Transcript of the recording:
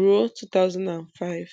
ruo 2005